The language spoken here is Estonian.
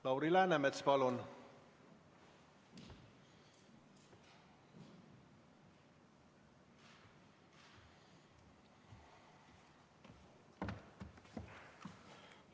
Lauri Läänemets, palun!